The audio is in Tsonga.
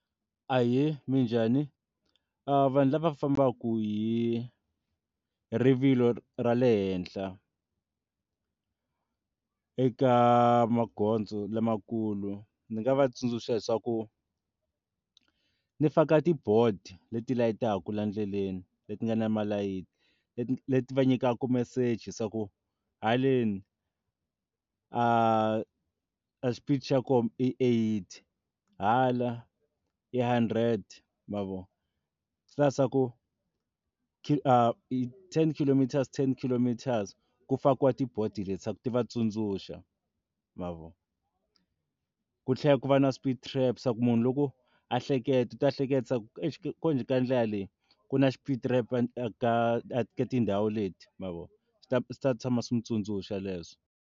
Ahee, minjhani? Vanhu lava fambaka hi rivilo ra le henhla eka magondzo lamakulu ndzi nga va tsundzuxa leswaku mi faka ti board leti layitaka laha ndleleni leti nga na malayithi leti va nyikaka meseji swa ku haleni a a xipidi xa koho i eighty hala i hundred ma vo swi hlaya ku a ten khilomitara ten khilomitara se ku fakiwa ti board leti leswaku ti va tsundzuxa ma vo ku tlhela ku va na speed ramp ku munhu loko a hleketa ta ehleketisa ku eish kambe ka ndlela leyi ku na xipidi ramp ka tindhawu leti mavona swi ta swi ta tshama swi n'wi tsundzuxa leswo.